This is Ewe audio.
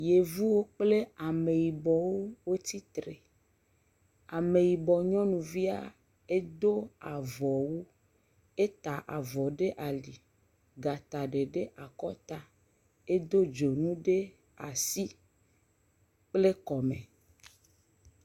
Yevuwo kple ameyibɔwo tsi tre. Ameyibɔ nyɔnuvia edo avɔwu, ata avɔ ɖe ali gata ɖe ɖe akɔta. Edo dzonu ɖe asi kple kɔme.